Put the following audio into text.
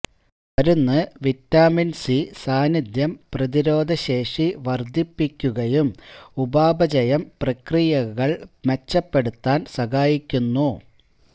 മരുന്ന് vitamin C സാന്നിദ്ധ്യം പ്രതിരോധശേഷി വർദ്ധിപ്പിക്കുകയും ഉപാപചയം പ്രക്രിയകൾ മെച്ചപ്പെടുത്താൻ സഹായിക്കുന്നു